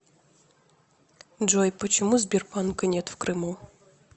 джой почему сбербанка нет в крыму